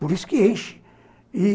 Por isso que enche e